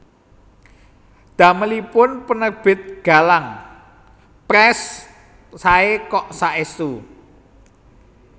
Damelipun Penerbit Galang Press sae kok saestu